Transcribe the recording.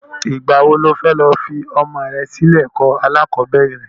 Ìgbà wo ni o fẹ́ lọ fi ọmọ rẹ sí ilé ẹ̀kọ́ alákọ̀bẹ́rẹ̀?